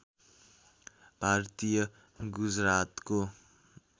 भारतीय गुजरातको